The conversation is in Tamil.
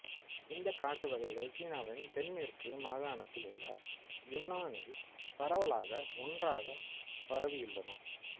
இந்தக் காட்டுவகைகள் சீனாவின் தென்மேற்கு மாகாணத்தில் உள்ள யுன்னானில் பரவலாக ஒன்றாகப் பரவியுள்ளன